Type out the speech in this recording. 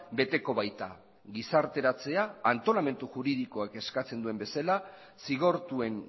beteko baita gizarteratzea antolamendu juridikoek eskatzen duen bezala zigortuen